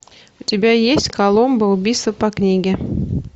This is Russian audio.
у тебя есть коломбо убийство по книге